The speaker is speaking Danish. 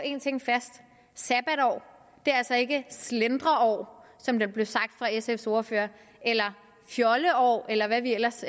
en ting fast sabbatår er altså ikke slendreår som der blev sagt fra sfs ordfører eller fjolleår eller hvad vi ellers